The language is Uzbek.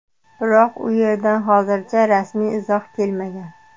Biroq u yerdan hozircha rasmiy izoh kelmagan.